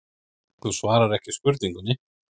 Þú svarar ekki spurningunni.